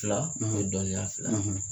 Fila o dɔniya fila ye.